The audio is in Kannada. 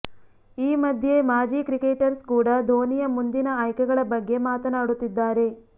ಈ ಮಧ್ಯೆ ಮಾಜಿ ಕ್ರಿಕೆಟರ್ಸ್ ಕೂಡಾ ಧೋನಿಯ ಮುಂದಿನ ಆಯ್ಕೆಗಳ ಬಗ್ಗೆ ಮಾತನಾಡುತ್ತಿದ್ದಾರೆ